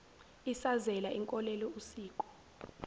isazela inkolelo usiko